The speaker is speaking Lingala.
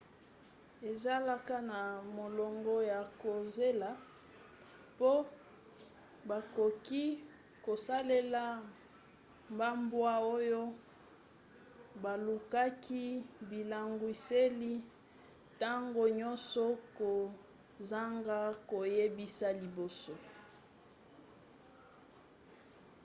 ezalaka na molongo ya kozela po bakoki kosalela bambwa oyo balukaki bilangwiseli ntango nyonso kozanga koyebisa liboso